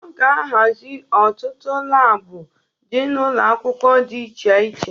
A ga-ahazị ọtụtụ labụ dị na ụlọakwụkwọ di iche iche.